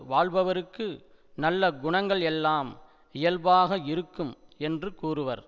வாழ்பவருக்கு நல்ல குணங்கள் எல்லாம் இயல்பாக இருக்கும் என்று கூறுவர்